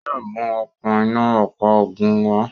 Yóò mú okún iná ọ̀pá ogun wa